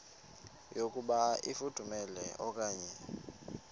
yokuba ifudumele okanye